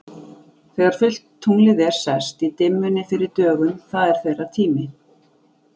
Þegar fullt tunglið er sest, í dimmunni fyrir dögun, það er þeirra tími.